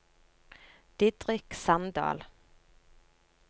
Didrik Sandal